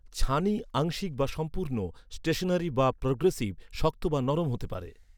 ছানি আংশিক বা সম্পূর্ণ, স্টেশনারি বা প্রোগ্রেসিভ, শক্ত বা নরম হতে পারে।